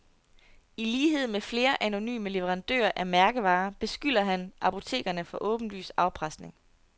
I lighed med flere anonyme leverandører af mærkevarer, beskylder han apotekerne for åbenlys afpresning.